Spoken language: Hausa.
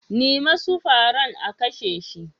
Nim'a su fara'n a kashe shi.